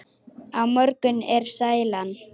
Á morgun er sælan.